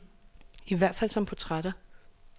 I hvert fald som portrætter.